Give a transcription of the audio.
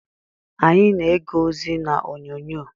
Anyị na-ege ozi n'onyonyo.